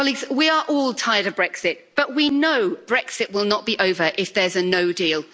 We are all tired of Brexit, but we know Brexit will not be over if there's no deal.